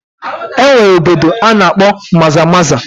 Enwere obodo ana-akpo maza maza